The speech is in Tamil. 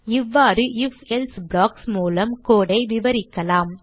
இவ்வாறு IfElse ப்ளாக்ஸ் மூலம் code ஐ விரிவாக்கலாம்